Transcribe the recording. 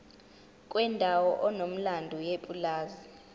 kwendawo enomlando yepulazi